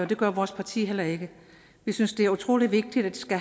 det gør vores parti heller ikke vi synes det er utrolig vigtigt at